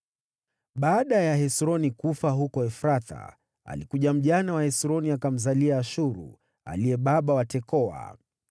Baada ya Hesroni kufa huko Efrathi, Abiya mjane wa Hesroni akamzalia Ashuru, aliye baba wa Tekoa.